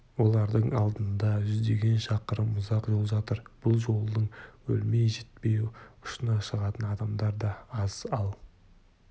олардың алдында жүздеген шақырым ұзақ жол жатыр бұл жолдың өлмей-жітпей ұшына шығатын адамдар да аз ал